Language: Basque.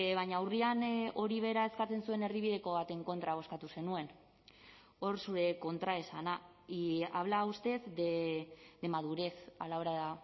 baina urrian hori bera eskatzen zuen erdibideko baten kontra bozkatu zenuen hor zure kontraesana y habla usted de madurez a la hora